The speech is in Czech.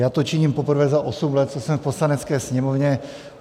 Já to činím poprvé za osm let, co jsem v Poslanecké sněmovně.